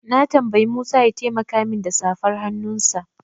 Na tambayi Musa ya taimaka min da safar hannunsa.